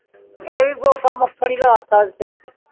ਆਵਈ ਬੋਕ ਮੱਖਣ ਲੈ ਤਾ ਓਦੇ ਸਰ